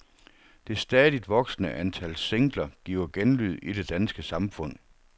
Det stadigt voksende antal singler giver genlyd i det danske samfund.